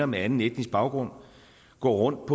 med anden etnisk baggrund går rundt